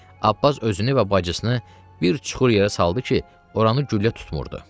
Abbas özünü və bacısını bir çuxur yerə saldı ki, oranı güllə tutmurdu.